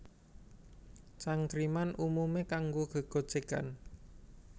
Cangkriman umumé kanggo gégojégan